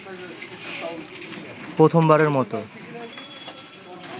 প্রথমবারের মত